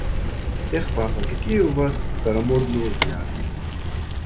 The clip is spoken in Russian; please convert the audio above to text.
эх папа какие у вас старомодные взгляды